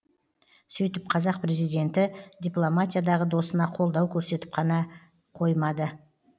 сөйтіп қазақ президенті дипломатиядағы досына қолдау көрсетіп қана қоймады